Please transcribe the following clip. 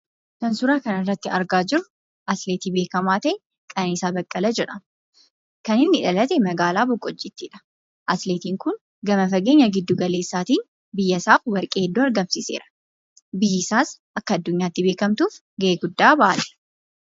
Kan suuraa kanarratti argaa jirru, atileetii beekamaa ta'e atileet Qananiisaa Baqqalee jedhama. Kan inni dhalate magaalaa boqqojiittidha. Atileetiin kun gama fageenya giddu galeesaatiin biyyasaaf warqee hedduu argamsiiseera biyyisaas akka addunyaatti beekkamtuuf gahee guddaa bahate.